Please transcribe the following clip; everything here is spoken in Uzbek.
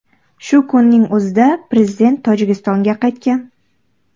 Shu kunning o‘zida prezident Tojikistonga qaytgan.